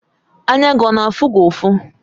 Anya gị ọ na-afụ gị ufọ?